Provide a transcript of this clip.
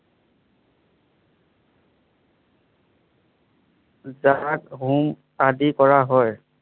জাত, হোং আদি কৰা হয়।